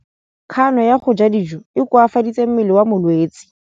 Kganô ya go ja dijo e koafaditse mmele wa molwetse.